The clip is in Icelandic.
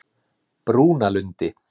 Brúnalundi